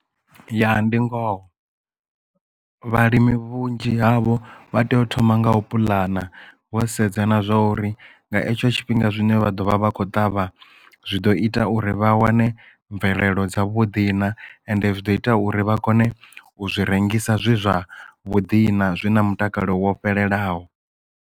Ya ndi ngoho vhalimi vhunzhi havho vha tea u thoma ngaho pulana vho sedzana na zwa uri nga hetsho tshifhinga zwine vha ḓo vha vha khou ṱavha zwi ḓo ita uri vha wane mvelelo dza vhuḓi na ende zwi ḓo ita uri vha kone u zwi rengisa zwe zwa vhuḓi na zwi na mutakalo wo fhelelaho.